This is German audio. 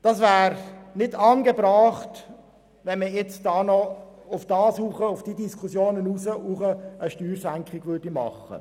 Es ist nicht angebracht, jetzt noch zusätzlich zu diesen Diskussionen eine Steuersenkung vorzunehmen.